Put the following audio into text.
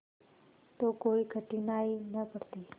तो कोई कठिनाई न पड़ती